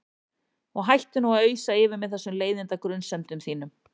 Og hættu nú að ausa yfir mig þessum leiðinda grunsemdum þínum.